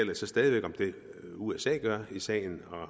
jeg så stadig væk om hvad usa gør i sagen og